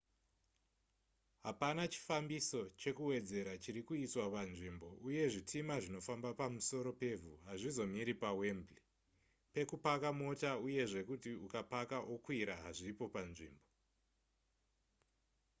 hapana chifambiso chekuwedzera chiri kuiswa panzvimbo uye zvitima zvinofamba pamusoro pevhu hazvizomiri pawembley pekupaka mota uye zvekuti ukapaka okwira hazvipo panzvimbo